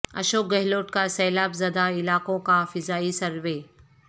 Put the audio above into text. اشوک گہلوٹ کا سیلاب زدہ علاقوں کا فضائی سروے